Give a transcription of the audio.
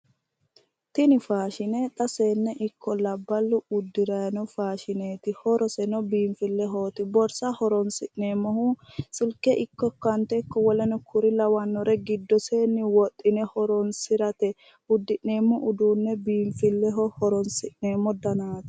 Tini faashine xa seenne ikko labballu uddirayi no faashineeti horoseno biinfillehooti borsa horonsi'neemmohu silke ikko akkawuunte ikko woleno kuri lawannore giddoseenni wodhine horonsirateeti uddi'neemmo uduunne biinfilleho horonsi'neemmo danaati.